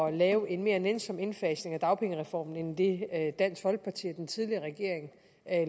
at lave en mere nænsom indfasning af dagpengereformen end det dansk folkeparti og den tidligere regering